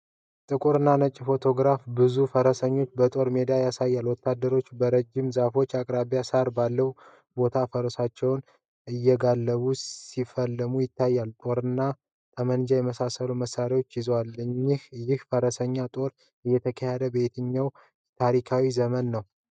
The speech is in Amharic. ጥቁር እና ነጭ ፎቶግራፍ ብዙ ፈረሰኞችን በጦርነት ሜዳ ያሳያል። ወታደሮች በረጃጅም ዛፎች አቅራቢያ ሳር ባለው ቦታ ፈረሶቻቸውን እየጋለቡ ሲፋለሙ ይታያሉ። ጦርና ጠመንጃ የመሰሉ መሳሪያዎችን ይዘዋል። ይህ የፈረሰኞች ጦርነት የተካሄደው በየትኛው ታሪካዊ ዘመን ነው?